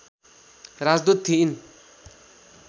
राजदूत थिइन्